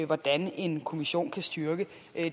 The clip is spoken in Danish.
hvordan en kommission kan styrke